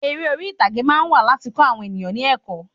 Eré orí ìtàgé máa ń wà láti kọ eniyan ni ẹ̀kọ́